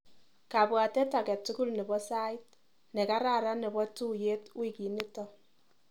Kabwatet akatukul nebo sait nekararan nebo tuiyet wikinito.